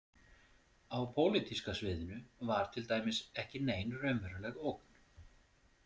Á pólitíska sviðinu var til dæmis ekki nein raunveruleg ógn.